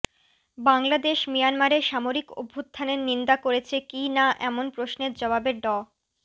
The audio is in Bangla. বাংলাদেশ মিয়ানমারে সামরিক অভ্যুত্থানের নিন্দা করেছে কি না এমন প্রশ্নের জবাবে ড